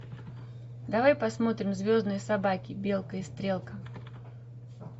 давай посмотрим звездные собаки белка и стрелка